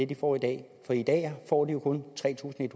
de får i dag for i dag får de jo kun tre tusind en